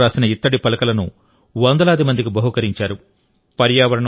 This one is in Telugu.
కన్నడలో రాసిన ఇత్తడి పలకలను వందలాది మందికి బహూకరించారు